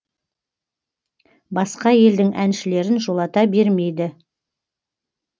басқа елдің әншілерін жолата бермейді